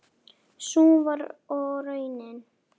Sú var og raunin.